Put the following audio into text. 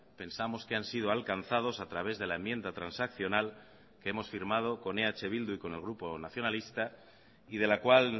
pensamos que han sido alcanzados a través de la enmienda transaccional que hemos firmado con eh bildu y con el grupo nacionalista y de la cual